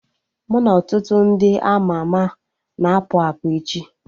Mụ na ọtụtụ ndị ama ama na-apụ apụ echi